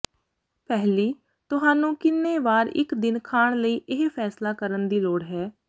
ਪਹਿਲੀ ਤੁਹਾਨੂੰ ਕਿੰਨੇ ਵਾਰ ਇੱਕ ਦਿਨ ਖਾਣ ਲਈ ਇਹ ਫੈਸਲਾ ਕਰਨ ਦੀ ਲੋੜ ਹੈ